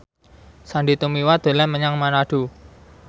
Sandy Tumiwa dolan menyang Manado